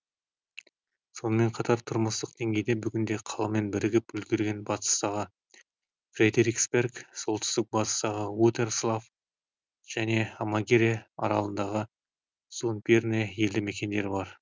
сонымер қатар тұрмыстық деңгейде бүгінде қаламен бірігіп үлгерген батыстағы фредериксберг солтүстік батыстағы утерслав және амагере аралындағы зундбьерне елді мекендері бар